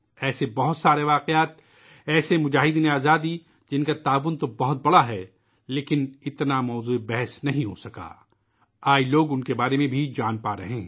ایسے بہت سارے واقعات ، ایسے جدو جہد آزادی کے سپاہی، جن کا تعاون تو بہت زیادہ ہے لیکن اُن کا ذکر اتنا نہیں ہو پایا ، آج لوگ ان کے بارے میں بھی جان رہے ہیں